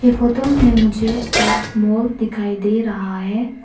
ई photo में मुझे एक मॉल दिखाई दे रहा है।